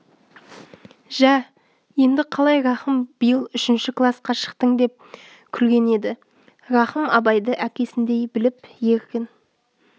жә енді қалай рахым биыл үшінші класқа шықтың деп күлген еді рахым абайды әкесіндей біліп еркін